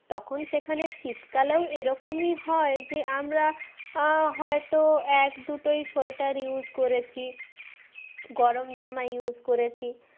তখন সেখানে শীতকালেও এরকমই হয় যে আমরা আহ হয়তো এক দুটোই sweater use করেছি গরমজামা use করেছি